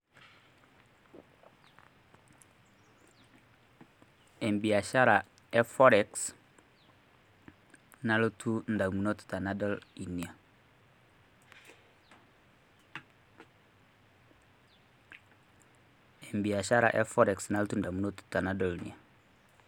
embiashara e forex nalotu ndamunot enadol inyia.